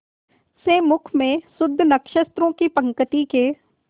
से मुख में शुद्ध नक्षत्रों की पंक्ति के